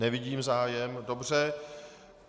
Nevidím zájem, dobře.